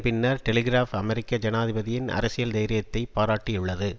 பின்னர் டெலிகிராப் அமெரிக்க ஜனாதிபதியின் அரசியல் தைரியத்தை பாராட்டியுள்ளது